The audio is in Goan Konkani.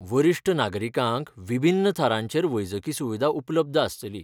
वरिश्ठ नागरीकांक विभिन्न थरांचेर वैजकी सुविधा उपलब्द आसतली.